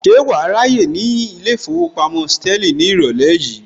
Ṣé wàá ráyè ní ilé ìfowópamọ́ Sterling ní ìrọ̀lẹ́ yìí